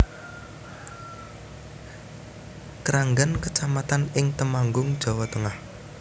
Kranggan kecamatan ing Temanggung Jawa Tengah